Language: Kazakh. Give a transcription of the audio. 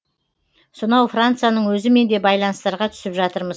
сонау францияның өзімен де байланыстарға түсіп жатырмыз